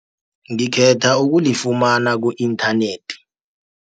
Ngikhetha ukulifumana ku-internet.